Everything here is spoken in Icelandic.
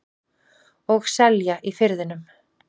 Og selja í Firðinum.